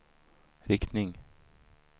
riktning